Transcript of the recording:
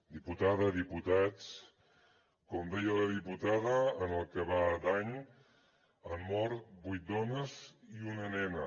diputada diputats com deia la diputada en el que va d’any han mort vuit dones i una nena